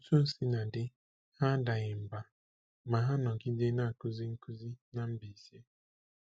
Otú o sina dị, ha adaghị mbà; ma ha nọgide na-akụzị nkuzi na Mbaise.